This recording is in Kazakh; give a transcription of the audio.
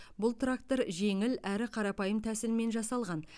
бұл трактор жеңіл әрі қарапайым тәсілмен жасалған